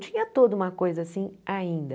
Tinha toda uma coisa assim ainda.